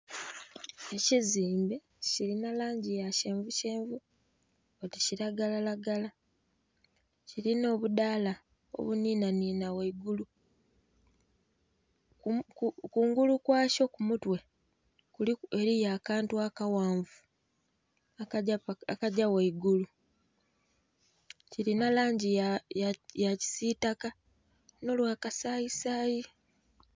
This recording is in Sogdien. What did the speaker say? Ekizimbe kirina langi ya kyenvu kyenvu oti kiragalaragala, kirinha obudaala obunhinhanhinha ghaigulu. Kungulu kwakyo ku mutwe eriyo akantu akaghanvu akagya ghaigulu, kirina langi ya kisiitaka n'olwakasayisayi.